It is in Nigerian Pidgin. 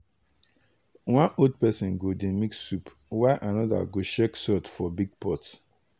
one old person go dey mix soup while another go check salt for big pot.